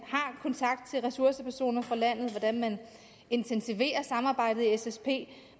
har kontakt til ressourcepersoner fra landet hvordan de intensiverer samarbejdet i ssp